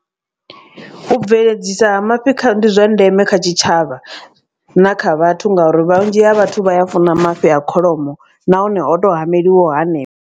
U bveledzisa ha mafhi ndi zwa ndeme kha tshitshavha na kha vhathu ngauri vhunzhi ha vhathu vha ya funa mafhi a kholomo nahone o to hameliwaho hanefho.